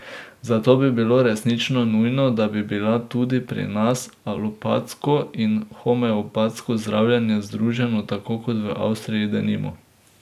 Zato bi bilo resnično nujno, da bi bila tudi pri nas alopatsko in homeopatsko zdravljenje združena, tako kot v Avstriji, denimo.